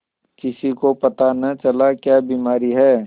किसी को पता न चला क्या बीमारी है